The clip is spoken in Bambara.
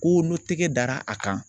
Ko n'o tɛgɛ dara a kan